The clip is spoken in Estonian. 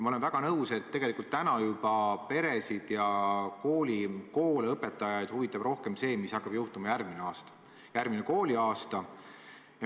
Ma olen väga nõus, et peresid ning koole ja õpetajaid huvitab rohkem see, mis hakkab juhtuma järgmisel kooliaastal.